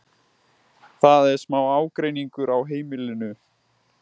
Það er smá ágreiningur á heimilinu.